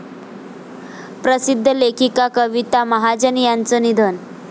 प्रसिद्ध लेखिका कविता महाजन यांचं निधन